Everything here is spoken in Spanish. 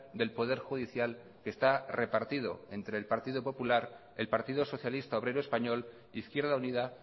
del poder judicial que está repartido entre el partido popular el partido socialista obrero español izquierda unida